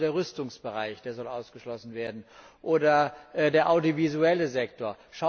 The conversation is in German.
Also der Rüstungsbereich soll ausgeschlossen werden, oder der audiovisuelle Sektor.